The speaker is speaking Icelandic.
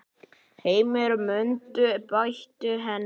Heimir: Muntu beita henni?